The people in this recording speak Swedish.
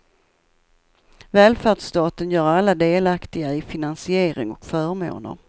Välfärdsstaten gör alla delaktiga i finansiering och förmåner.